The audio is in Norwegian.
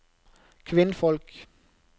kvinnfolk